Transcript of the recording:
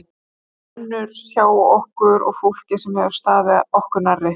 Það brennur hjá okkur og fólki sem hefur staðið okkur nærri.